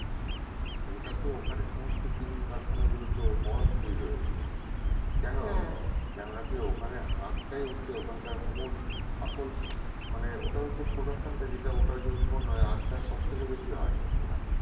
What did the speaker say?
ওটাতো ওখানে সমস্ত চিনির কারখানাগুলো তো Maharashtra এর রয়েছে কেন হবেনা কেনো না কি ওখানে আখটাই হচ্ছে ওখানকার মূল আসল মানে ওটা হচ্ছে production টা যেটা ওটা যে উৎপন্ন হয় আখটা সব থেকে বেশি হয় ওখানে